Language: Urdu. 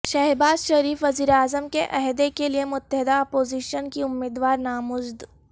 شہباز شریف وزیراعظم کے عہدے کیلئے متحدہ اپوزیشن کے امیدوار نامزد